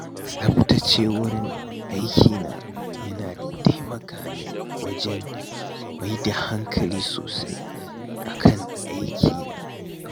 Tsaftace wurin aikina yana taimaka min wajen maida hankali sosai a kan ayyukana.